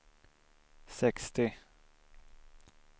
sextio